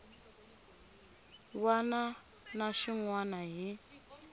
wana na xin wana hi